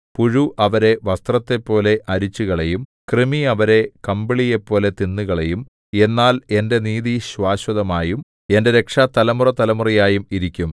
പുഴു അവരെ വസ്ത്രത്തെപ്പോലെ അരിച്ചുകളയും കൃമി അവരെ കമ്പിളിയെപ്പോലെ തിന്നുകളയും എന്നാൽ എന്റെ നീതി ശാശ്വതമായും എന്റെ രക്ഷ തലമുറതലമുറയായും ഇരിക്കും